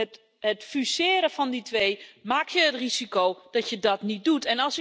Met het fuseren van die twee loop je het risico dat je dat niet doet.